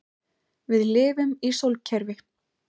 Við lifum í sólkerfi.